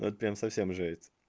это прям совсем жесть